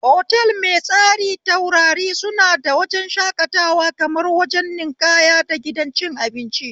Otal mai tsari taurari suna da wajen shakatawa, kamar wajen ninƙaya da gidan cin abinci